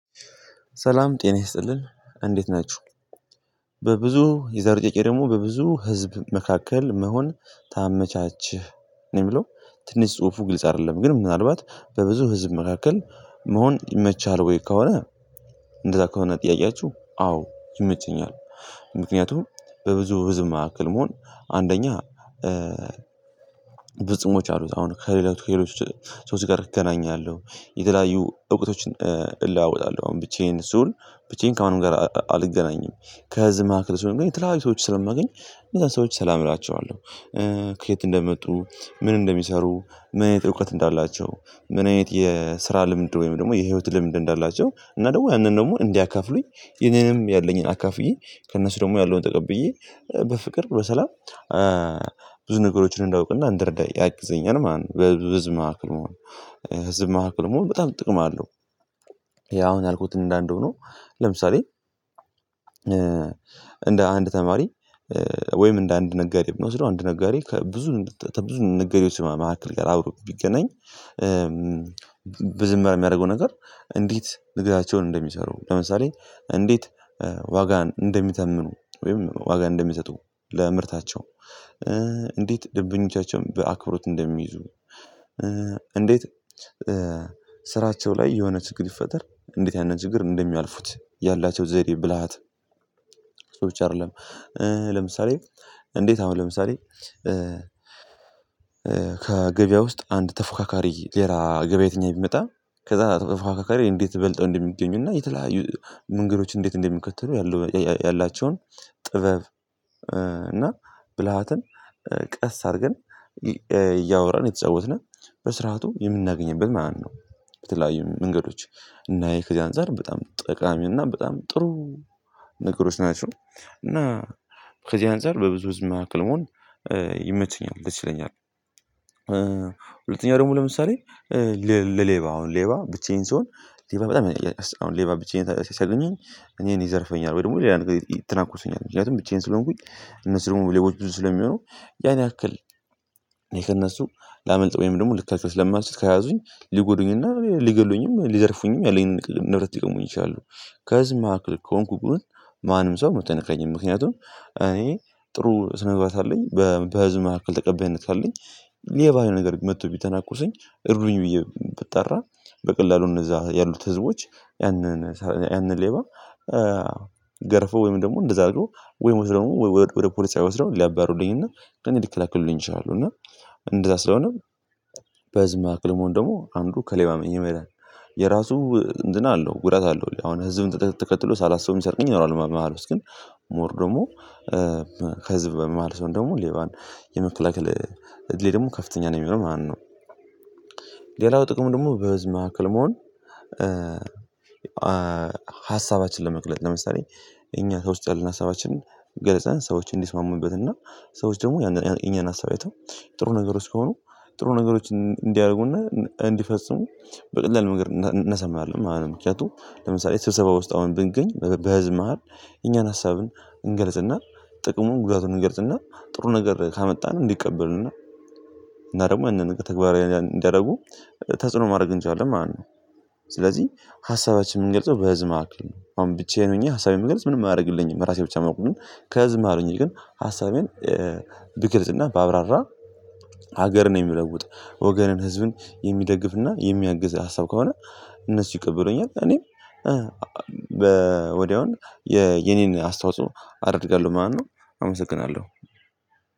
ሰላም ጤና ይስጥልን እንዴት ናችሁ በብዙ የዛሬው ጥያቄ ደግሞ በብዙ ህዝብ መካከል መሆን ታመቻችህ ነው የሚለው ትንሽ ጽሁፉ ግልጽ አይደለም ግን ምናልባት በብዙ ህዝብ መካከል መሆን ይመችሃል ወይ ከሆነ እንደዛ ከሆነ ጥያቄያችሁ አዎ ይመቸኛል ምክንያቱም በብዙ ህዝብ መካከል መሆን አንደኛ ብዙ ጥቅሞች አሉት አሁን ከሌላው ከሌሎች ሰዎች ጋር እገናኛለሁ የተለያዩ እውቀቶችን እለዋወጣለሁ አሁን ብቻዬን ስዉል ብቻዬን ከማንም ጋር አልገናኝም ከህዝብ መካከል ስሆን ግን የተለያዩ ሰዎችን ስለማገኝ እነዛን ሰዎች ሰላም እላቸዋለሁ ከየት እንደመጡ፣ ምን እንደሚሰሩ፣ ምን አይነት እውቀት እንዳላቸው፣ ምን አይነት የስራ ልምድ ወይም ደግሞ የህይወት ልምድ እንዳላቸው እና ደግሞ ያንን ደግሞ እንዲያከፍሉኝ የኔንም ያለኝን አካፍዬ ከእነሱ ደግሞ ያለውን ተቀብዬ በፍቅር በሰላም ብዙ ነገሮችን እንዳውቅና እንደረዳ ያግዘኛል ማለት ነው በህዝብ ማሃከል መሆን ህዝብ ማሃከል መሆን በጣም ጥቅም አለው ያ አሁን ያልኩትን እንዳለ ሆኖ ነው ለምሳሌ እንደ አንድ ተማሪ ወይም እንደ አንድ ነጋዴ ብንወስደው አንድ ነጋዴ ከብዙ ተብዙ ነጋዴዎች መካከል ጋር አብሮ ቢገናኝ በዚህ መሃል የሚያደርገው ነገር እንዴት ንግዳቸውን እንደሚሰሩ ለምሳሌ እንዴት ዋጋን እንደሚተምኑ ወይም ዋጋ እንደሚሰጡ ለምርታቸው እንዴት ደብኞቻቸውን በአክብሮት እንደሚይዙ እንዴት ስራቸው ላይ የሆነ ችግር ቢፈጠር እንዴት ያንን ችግር እንደሚያልፉት ያላቸው ዘዴ ብልሃት ሰዎች አይደለም ለምሳሌ እንዴት አሁን ለምሳሌ ከገበያ ውስጥ አንድ ተፎካካሪ ሌላ ገበያተኛ ቢመጣ ከዛ ተፎካካሪ እንዴት በልጠው እንደሚገኙና የተለያዩ መንገዶች እንዴት እንደሚከተሉ ያለው ያላቸውን ጥበብ እና ብልሃትን ቀስ አድርገን እያወራን እየተጫወትነ በስርዓቱ የምናገኝበት ማነው በተለያዩ መንገዶች እና ይሄ ከዚህ አንፃር በጣም ጠቃሚውና በጣም ጥሩ ነገሮች ናቸው እና ከዚህ አንፃር በብዙ ህዝብ መካከል መሆን ይመቸኛል ይችለኛል ሁለተኛ ደግሞ ለምሳሌ ለሌባ አሁን ሌባ ብቻዬን ስሆን ሌባ በጣም አሁን ሌባ ብቻዬን ሲያገኘኝ እኔን ይዘርፈኛል ወይ ደግሞ ሌላ ነገር ትነኩሱኛል ምክንያቱም ብቻዬን ስለሆንኩኝ እነሱ ደግሞ ሌቦች ብዙ ስለሚሆኑ ያን ያክል ከእነሱ ላመልጥ ወይም ደግሞ ልከላከል ስለማልችል ከያዙኝ ሊጎዱኝና ሊገድሉኝም፣ ሊዘርፉኝም፣ ያለኝን ንብረት ይገሙኝ ይችላሉ፣ ከህዝብ መካከል ከሆንኩ ግን ማንም ሰው መቶ አይነካኝም ምክንያቱም እኔ ጥሩ ስነ ምግባር ካለኝ በህዝብ መካከል ተቀባይነት ካለኝ ሌባ ነገር መጥቶ ቢተናኮሰኝ እርዱኝ ብዬ ብጣራ በቀላሉ እነዛ ያሉት ህዝቦች ያንን ያንን ሌባ ገርፈው ወይም ደግሞ እንደዛ አድርገው ወይም መስደው ወደ ፖሊስ ጣቢያ ወስደው ሊያባርሩልኝና እኔን ልከላከሉልኝ ይችላለሁ እና እንደዛ ስለሆነም በህዝብ መካከል መሆን ደግሞ አንዱ ከሌባ የመዳን የራሱ እንትን አለው ጉዳት አለው አሁን ህዝብን ተከትሎ ሳላስበውም የሚሰርቀኝ ይኖራል መሃል ውስጥ ግን ሞር ደግሞ ከህዝብ በ መሃል ስሆን ደግሞ ሌባን የመከላከል እድሌ ደግሞ ከፍተኛ ነው የሚሆነው ማለት ነው። ሌላው ጥቅሙ ደግሞ በህዝብ መካከል መሆን ሀሳባችንን ለመቅለጥ ለምሳሌ እኛ ከውስጥ ያለ ሀሳባችንን ገለጸን ሰዎች እንዲስማሙንበት እና ሰዎች ደግሞ ያንን የኛን ሀሳብ አይተው ጥሩ ነገሮች ከሆኑ ጥሩ ነገሮችን እንዲያደርጉና እንዲፈጽሙ በቀላል ነገር እናሳምናለን ምክንያቱም ለምሳሌ ስብሰባ ውስጥ አሁን ብገኝ በህዝብ መሃል የኛን ሀሳብን እንገልጽናል ጥቅሙን ጉዳቱን እንገልጽናል ጥሩ ነገር ካመጣን እንዲቀበሉና እና እና ደግሞ ይሄንን ነገር ተግባራዊ እንዲያደርጉ ተጽዕኖ ማድረግ እንችላለን ማለት ነው። ስለዚህ ሀሳባችን የምንገልጸው በህዝብ መካከል ነው አሁን ብቻዬን ሆኜ ሀሳቤን መግለጽ ምንም አያደርግልኝም ራሴ ብቻ ማዉቀውም ህዝብ መካከል ሆኘ ግን ሀሳቤን ብገልጽና ባብራራ ሀገርን የሚለውጥ ወገንን ህዝብን የሚደግፍና የሚያግዝ ሀሳብ ከሆነ እነሱ ይቀበሉኛል እኔም የ የኔን አስታውሶ አደርጋለሁ ማነው አመሰግናለሁ።